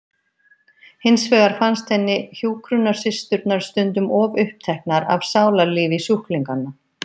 Hins vegar fannst henni hjúkrunarsysturnar stundum of uppteknar af sálarlífi sjúklinganna.